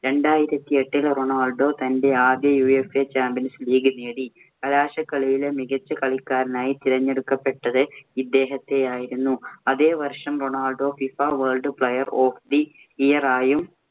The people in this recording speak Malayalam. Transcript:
രണ്ടായിരത്തി എട്ടില്‍ റൊണാൾ‍ഡോ തന്‍റെ ആദ്യ UFAchampions league നേടി. കലാശക്കളിയിലെ മികച്ച കളിക്കാരനായി തിരഞ്ഞെടുക്കപ്പെട്ടത് ഇദ്ദേഹത്തെയായിരുന്നു. അതേ വർഷം Ronaldo FIFA world player of the year ആയും